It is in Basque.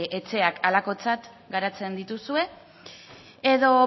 etxeak halakotzat garatzen dituzue edo